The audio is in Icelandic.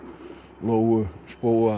lóu spóa